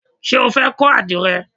Ṣé o fẹ́ kọ́ àdìrẹ?